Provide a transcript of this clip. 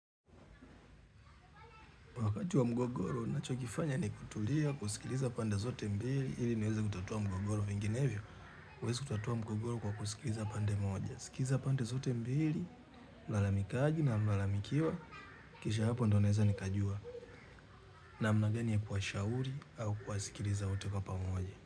Wakati wa mgogoro, nachokifanya ni kutulia, kusikiliza pande zote mbili, ili neweza kutatua mgogoro vinginevyo. Huwezi kutatua mgogoro kwa kusikiliza pande moja. Sikiza pande zote mbili, mlalamikaji na mlalamikiwa, kisha hapo ndio naweza nikajua. Namna gani ya kushauri au kuwasikiliza wote kwa pamoja.